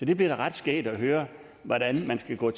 det bliver da ret skægt at høre hvordan man skal gå